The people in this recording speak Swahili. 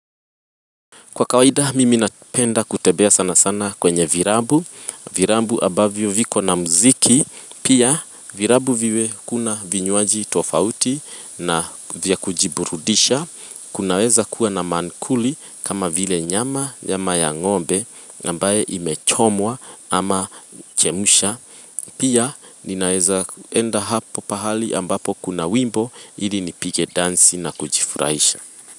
Kwa kawaida mimi napenda kutembea sana sana kwenye vilabu, vilabu ambavyo vina muziki, pia vilabu ambavyo kuna vinywaji tofauti na vya kujiburudisha. Kunaweza kuwa na mankuli kama vile nyama ya ng'ombe ambayo imechomwa ama kuchemshwa. Pia ninaweza enda mahali ambapo kuna wimbo ili nipige dansi na kujifurahisha.